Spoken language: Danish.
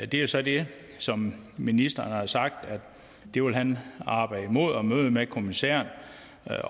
det er så det som ministeren har sagt han vil arbejde imod et møde med kommissæren